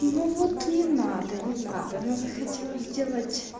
ну вот не надо не надо она захотела сделать